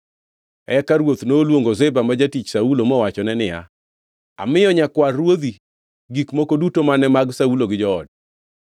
Eka ruoth noluongo Ziba, ma jatich Saulo mowachone niya, “Amiyo nyakwar ruodhi gik moko duto mane mag Saulo gi joode.